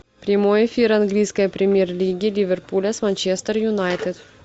прямой эфир английской премьер лиги ливерпуля с манчестер юнайтед